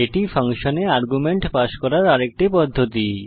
এটি ফাংশনে argument pass করার আরেকটি পদ্ধতি